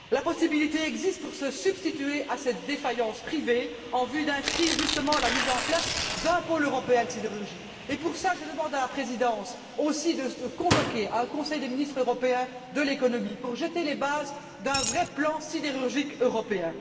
La possibilité existe de se substituer à cette défaillance privée en vue d'inscrire, justement, la mise en place d'un pôle européen de sidérurgie. Pour cela, je demande aussi à la présidence de convoquer un Conseil des ministres européen de l'économie pour jeter les bases d'un vrai plan sidérurgique européen.